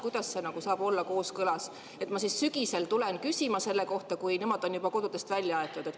Kuidas see saab olla kooskõlas, kui ma sügisel tulen küsima selle kohta, kui nemad on juba kodudest välja aetud?